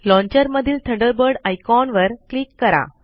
launcher मधील Thunderbird icon वर click करा